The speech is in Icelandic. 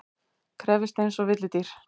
Krefjist einsog villidýr.